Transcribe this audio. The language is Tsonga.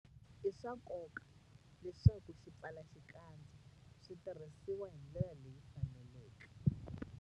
I swa nkoka leswaku swipfalaxikandza swi tirhisiwa hi ndlela leyi faneleke.